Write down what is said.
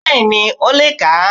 Bẹ́ẹ̀ni ó le è kà á